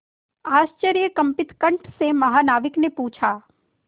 आश्चर्यकंपित कंठ से महानाविक ने पूछा